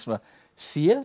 séð